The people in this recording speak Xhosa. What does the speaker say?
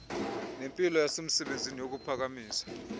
nempilo yasemsebenzini kukuphakamisa